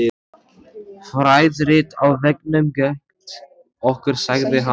Fræðirit á veggnum gegnt okkur sagði hann.